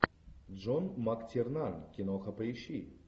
джон мактирнан киноха поищи